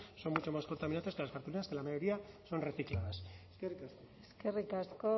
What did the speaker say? son mucho más contaminantes que las cartulinas que la mayoría son recicladas eskerrik asko